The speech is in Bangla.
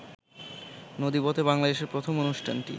নদীপথে বাংলাদেশের প্রথম অনুষ্ঠানটি